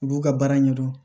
U b'u ka baara ɲɛdɔn